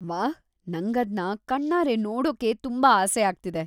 ವಾಹ್! ನಂಗದ್ನ ಕಣ್ಣಾರೆ ನೋಡೋಕೆ ತುಂಬಾ ಆಸೆಯಾಗ್ತಿದೆ.